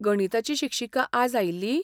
गणिताची शिक्षिका आज आयिल्ली?